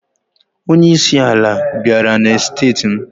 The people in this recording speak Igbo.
Onyeisi ala bịara na steeti m.